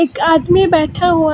एक आदमी बैठा हुआ है।